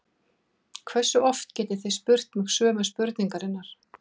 Hversu oft getið þið spurt mig sömu spurningarinnar?